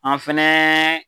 An fɛnɛ.